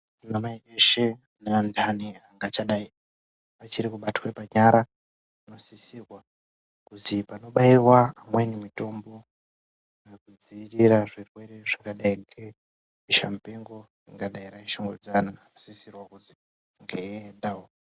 Anamai eshe ngeandani angadai achirikubatwe panyara anosisirwa kuzi oanobaiwa amweni mutombo anodzirira zvirwere zvakadai ngebesha mupengo anhu asisiriwo kuzieiendawo.